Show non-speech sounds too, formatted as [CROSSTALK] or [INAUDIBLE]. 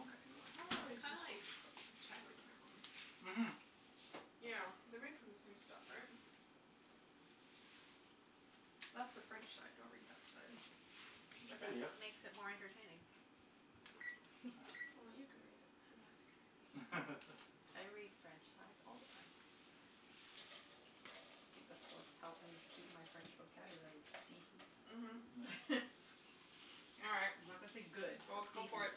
Okay, how Mm, long they are are these kinda like supposed to cook? I should put a [INAUDIBLE] timer on. Mhm. Yeah, they're made from the same stuff, right? That's the French side, don't read that side. It just makes it [INAUDIBLE] more entertaining. Well, you can read it [LAUGHS] [NOISE] or Matthew can read it. [LAUGHS] I read French sides all the time. I think that's what's helped me keep my French vocabulary decent. Mhm. [NOISE] [LAUGHS] All right, I'm not gonna say good, well, but go for decent. it.